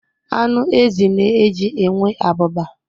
Anụ ezi na-eji enwe abụba.